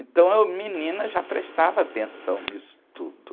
Então eu, menina, já prestava atenção nisso tudo.